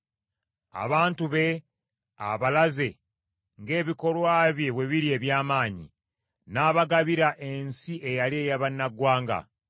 Abantu be abalaze ng’ebikolwa bye bwe biri eby’amaanyi; n’abagabira ensi eyali ey’abannaggwanga.